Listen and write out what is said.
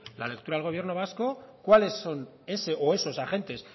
la lectura del gobierno vasco cuáles son ese o esos agentes